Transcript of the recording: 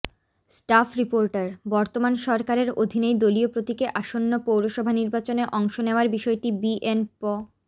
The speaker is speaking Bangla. স্টাফ রিপোর্টারঃ বর্তমান সরকারের অধীনেই দলীয় প্রতীকে আসন্ন পৌরসভা নির্বাচনে অংশ নেয়ার বিষয়টি বিএনপ